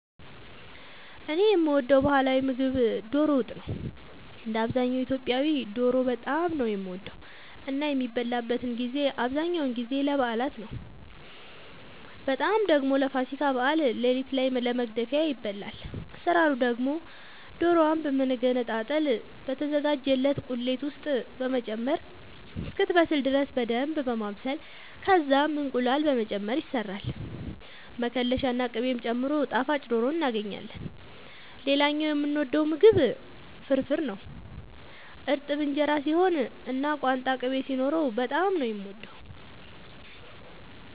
እኔ የምወደው ባህላዊ ምግብ ዶሮ ወጥ ነው። እንደ አብዛኛው ኢትዮጵያዊ ዶሮ በጣም ነው የምወደው እና የሚበላበትን ጊዜ አብዛኛውን ጊዜ ለበዓላት ነው በጣም ደግሞ ለፋሲካ በዓል ሌሊት ላይ ለመግደፊያ ይበላል። አሰራሩ ደግሞ ዶሮዋን በመገነጣጠል በተዘጋጀላት ቁሌት ውስጥ በመጨመር እስክትበስል ድረስ በደንብ በማብሰል ከዛም እንቁላል በመጨመር ይሰራል መከለሻ ና ቅቤ ጨምሮ ጣፋጭ ዶሮ እናገኛለን። ሌላኛው የምወደው ምግብ ፍርፍር ነው። እርጥብ እንጀራ ሲሆን እና ቋንጣ ቅቤ ሲኖረው በጣም ነው የምወደው።